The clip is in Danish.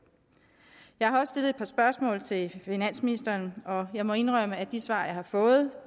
jeg har også stillet et par spørgsmål til finansministeren og jeg må indrømme at de svar jeg har fået